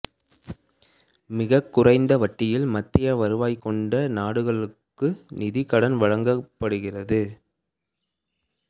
மிககுறைந்த வட்டியில் மத்திய வருவாய் கொண்ட நாடுகளுக்கு நிதிக்கடன் வழங்கப்படுகிறது